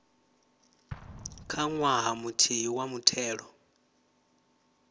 kha ṅwaha muthihi wa muthelo